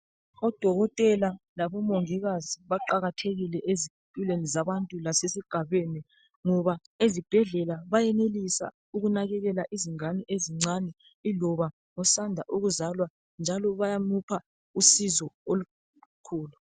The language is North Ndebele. Odokotela labomongikazi baqakathekile ezimpilweni zabantu lasesigabeni, ngoba esibhedlela, bayenelisa ukunakekela izingane ezincane, iloba osanda ukuzalwa. Njalo bayamupha usizo olukhulu.